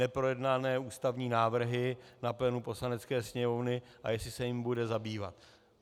Neprojednané ústavní návrhy na plénu Poslanecké sněmovny, a jestli se jimi bude zabývat.